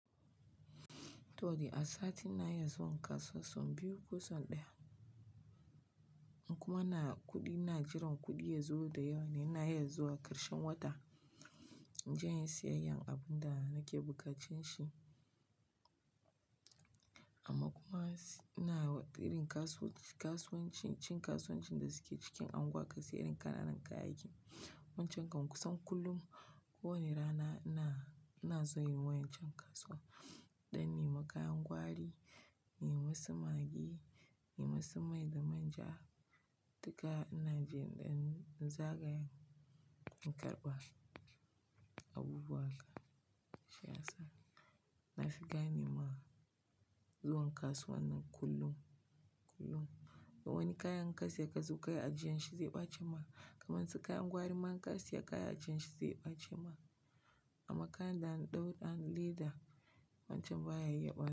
To a sati ina zuwa kasuwa sau biyu ko sau ɗaya kuma na kuɗi na jiran kuɗi yazo da yawa ne na ya zo a ƙarshen wata. In je in yi siyayya abun da nake buƙatar shi. Amma kuma ina ƙirin kasuwanci, cin kasuwancin da suke cikin anguwa ka siyi irin ƙananan kayayyaki. Wancan kusan kullum ko wani rana ina, ina zuwa yin wayan cin kasuwa. In ɗan nema kayan gwari, nima su maggi, in nemi su mai da manja. Duka ina jin ɗan zaga in karɓa abubuwa haka. Gaskiya, na fi gane ma zuwa kasuwa nan kullum, kullum. Wani kayan in ka siya ka zo kayi a jiya shi zai ɓace ma. Kamar su kayan gwari ma in ka siya kaya a jiya shi zai ɓace ma. Amma kayan da an ɗau da leda wancan ba ya iya ɓace.